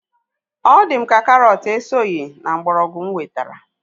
Ọ di m ka karọt esoghị na mgbọrọgwụ mụ wetara